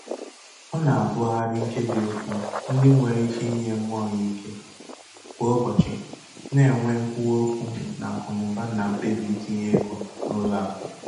Ọ na-agụgharị nkebiokwu ndị nwéré ike inye mmụọ ya ike kwà ụbọchị, na- enwe nkwuwaokwu n'akụnaụba na mkpebi itinye ego n' ụlọ akụ.